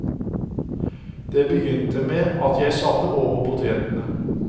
Det begynte med at jeg satte over potetene.